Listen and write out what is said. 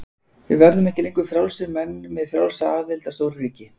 Við verðum ekki lengur frjálsir menn með frjálsa aðild að stóru ríki.